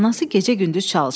Anası gecə-gündüz çalışırdı.